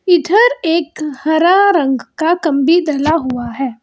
इधर एक हरा रंग का कम्बी डला हुआ है।